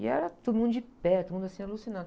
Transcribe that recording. E era todo mundo de pé, todo mundo assim, alucinado